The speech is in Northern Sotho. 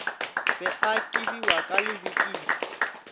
be a kibiwa ka lebikiri